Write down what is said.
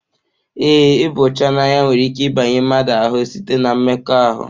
Ee ịba ọcha n'anya nwere ike ịbanye mmadụ ahụ site-na mmekọahụ.